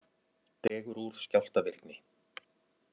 Dregur úr skjálftavirkni